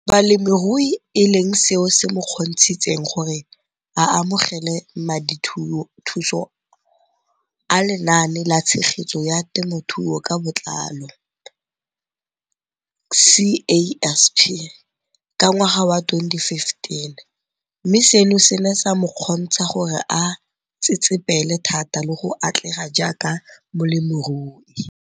Balemirui e leng seo se mo kgontshitseng gore a amogele madithuso a Lenaane la Tshegetso ya Te mothuo ka Botlalo, CASP] ka ngwaga wa 2015, mme seno se ne sa mo kgontsha gore a tsetsepele thata le go atlega jaaka molemirui.